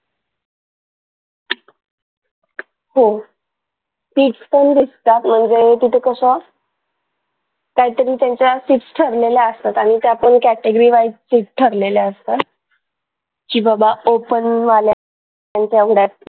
हो fees पण दिसतात म्हणजे तिथ कशा काही तरी त्यांच्या fees ठरलेल्या असतात आणि त्या पण category wise fees ठरलेल्या असतात की बाबा open वाल्यांच्या